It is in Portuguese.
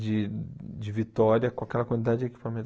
de de vitória com aquela quantidade de equipamento.